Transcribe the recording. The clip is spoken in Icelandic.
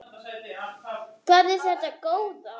Hvað er þetta góða!